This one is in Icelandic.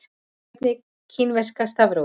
Hvernig er kínverska stafrófið?